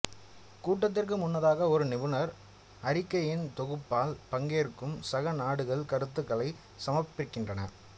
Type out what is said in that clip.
கூட்டத்திற்கு முன்னதாக ஒரு நிபுணர் அறிக்கையின் தொகுப்பால் பங்கேற்கும் சக நாடுகள் கருத்துகளைச் சமர்ப்பிக்கின்றன